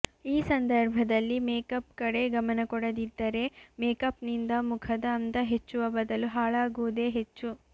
ಈ ಸಂದರ್ಭದಲ್ಲಿ ಮೇಕಪ್ ಕಡೆ ಗಮನ ಕೊಡದಿದ್ದರೆ ಮೇಕಪ್ನಿಂದ ಮುಖದ ಅಂದ ಹೆಚ್ಚುವ ಬದಲು ಹಾಳಾಗುವುದೇ ಹೆಚ್ಚು